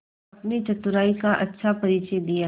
अपनी चतुराई का अच्छा परिचय दिया